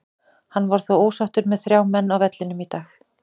Hann var þó ósáttur með þrjá menn á vellinum í dag.